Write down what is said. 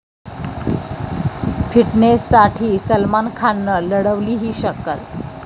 फिटनेससाठी सलमान खाननं लढवली 'ही' शक्कल